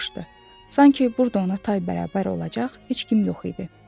Sanki burda ona tay bərabər olacaq heç kim yox idi.